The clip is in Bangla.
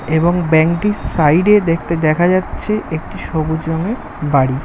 এবং ব্যাঙ্ক টির সাইড এ দেখা যাচ্ছে একটি সবুজ রঙের বাড়ি ।